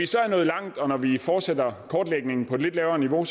så langt og når vi fortsætter kortlægningen på et lidt lavere niveau er